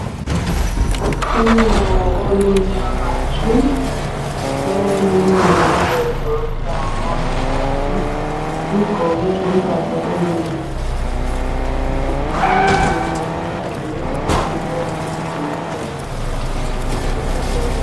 Unyawo olumnyama tshu bayalwelula bayaludonsa ngumongikazi, ugqoke impahla eziyisibhakabhaka umile ukhangele ukuthi lo omdonsayo uyaphila yini.